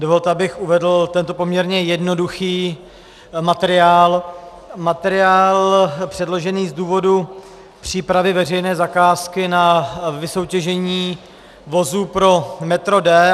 Dovolte, abych uvedl tento poměrně jednoduchý materiál, materiál předložený z důvodu přípravy veřejné zakázky na vysoutěžení vozů pro metro D.